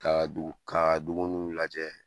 Kaa dugu kaa dumununw lajɛ